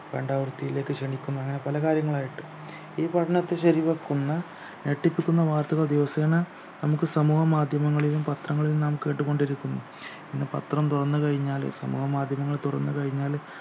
വേണ്ടാവൃത്തിയിലേക്ക് ക്ഷണിക്കുന്നു അങ്ങനെ പലകാര്യങ്ങൾ ആയിട്ട് ഈ പഠനത്തെ ശരിവെക്കുന്ന ഞെട്ടിപ്പിക്കുന്ന വാർത്തകൾ ദിവസേന നമുക്ക് സമൂഹമാധ്യമങ്ങളിലും പത്രങ്ങളിലും നാം കേട്ടുകൊണ്ടിരിക്കുന്നു ഇന്ന് പത്രം തുറന്നു കഴിഞ്ഞാൽ സമൂഹമാധ്യമങ്ങൾ തുറന്നു കഴിഞ്ഞാല്